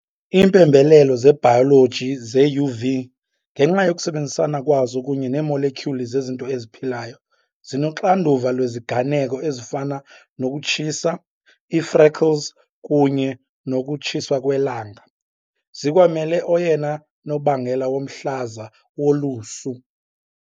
Iimpembelelo zebhayoloji ze-UV, ngenxa yokusebenzisana kwazo kunye neemolekyuli zezinto eziphilayo, zinoxanduva lweziganeko ezifana nokutshisa, ii-freckles kunye nokutshiswa kwelanga, zikwamela oyena nobangela womhlaza wolusu .